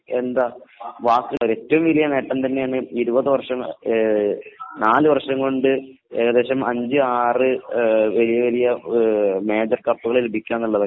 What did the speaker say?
പറയാൻ വാക്കുകളില്ലാ ഏറ്റവും വലിയ നേട്ടം തന്നെയാണ് ഇരുപത് വര്ഷം, നാലു വര്ഷം കൊണ്ട് വലിയ വലിയ ഏകദേശം അഞ്ചു ആറു മേജർ കപ്പുകൾ ലഭിക്കുക എന്നുള്ളത് .